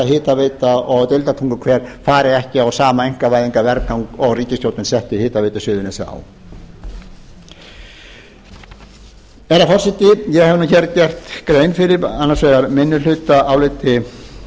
hitaveita og deildartunguhver fari ekki á sama einkavæðingarvergang og ríkisstjórnin setti hitaveitu suðurnesja á herra forseti ég hef nú gert grein fyrir annars vegar fyrir